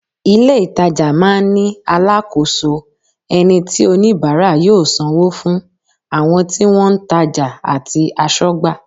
Ìlé-ìtajà máa ń ní alákòóso, ẹni tí oníbàárà yóò sanwó fún, àwọn tí wọ́n ń tajà àti aṣọ́gbà